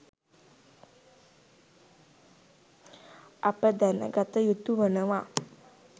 අප දැනගත යුතුවනවා.